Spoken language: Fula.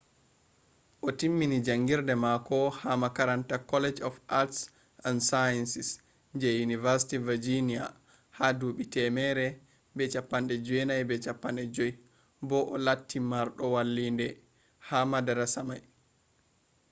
o timmini jangirde mako ha makaranta college of arts & sciences je university virginia ha dubi 1950 bo o latti mardo vallinde ha madarasa mai